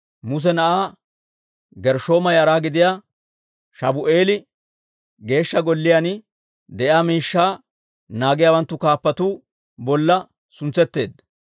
Muse na'aa Gershshooma yara gidiyaa Shabu'eeli Geeshsha Golliyaan de'iyaa miishshaa naagiyaawanttu kaappatuu bolla suntsetteedda.